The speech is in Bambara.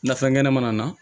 Nafɛn kɛnɛmana na